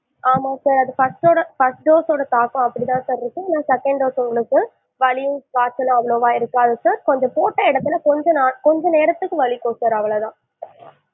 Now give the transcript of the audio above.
ஆமா sir அது first டோட first dose சோட தாக்கம் அப்படி தான் sir இருக்கும் ஆனா second dose இல்ல sir வலியோ காய்ச்சலோ அந்த மாதிரி இருக்காது sir கொஞ்சம் போட்ட இடத்துல கொஞ்ச னா கொஞ்ச நேரத்துக்கு வலிக்கும் sir அவ்வளோதான்